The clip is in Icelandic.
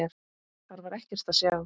Þar var ekkert að sjá.